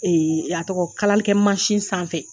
Ee a tɔgɔ, kalalikɛ masin sanfɛ.